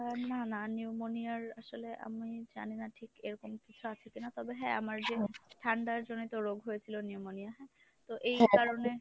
আহ না না pneumonia’র আসলে আমি জানি না ঠিক এরকম কিছু আছে কিনা তবে হ্যাঁ আমার যে ঠান্ডার জনিত রোগ হয়েছিল pneumonia হ্যাঁ তো এই কারণে